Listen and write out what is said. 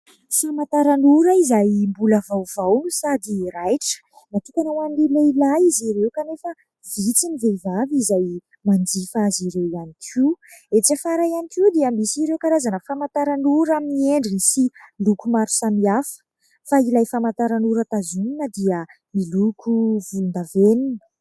Famantaran'ora izay mbola vaovao sady raitra. Natokana ho an'ny lehilahy izy ireo kanefa vitsy ny vehivavy izay manjifa azy ireo ihany koa. Etsy afara ihany koa dia misy ireo karazana famantaran'ora amin'ny endriny sy loko maro samihafa fa ilay famantaran'ora tazomina dia miloko volondavenona.